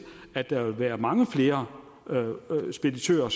at der vil være mange flere speditører